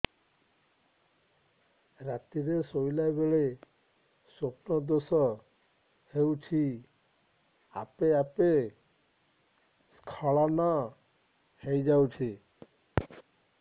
ରାତିରେ ଶୋଇଲା ବେଳେ ସ୍ବପ୍ନ ଦୋଷ ହେଉଛି ଆପେ ଆପେ ସ୍ଖଳନ ହେଇଯାଉଛି